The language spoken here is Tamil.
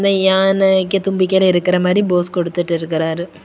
இந்த யானைக்கு தும்பிக்கைர இருக்கிற மாரி போஸ் குடுத்துட்டு இருக்காரு.